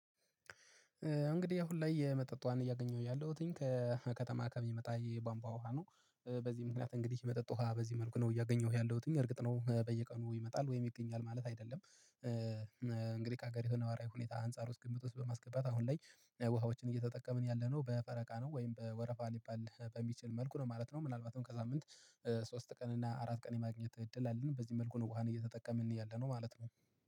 እንግዲህ አሁን ላይ የመጠጥ ዉሃን እያገኘሁ ያለሁትኝ ከከተማ ከሚመጣ የባንቧ ውሃ ነው በዚህ ምክንያት እንግዲህ የመጠጥ ውሃ በዚህ መልኩ ነው እያገኘሁህ ያለሁት እርግጥ ነው በየቀኑ ይመጣል ወይም ይገኛል ማለት አይደለም። ከሀገሪቱ ነዋራዊ ሁኔታ አንፃር ውስጥ ግምት ውስጥ በማስገባት አሁን ላይ ውሃዎችን እየተጠቀምን ያለነው በፈረቃ ነው። ወይም በወረፋ ሊባል በሚችል መልኩ ነው ማለት ነው፣ ምናልባትም ከሳምንት ሶስት ቀን እና አራት ቀን የማግኘት እድል አለን። በዚህ መልኩ ነው ውሃን እየተጠቀምን እያለ ነው ማለት ነው።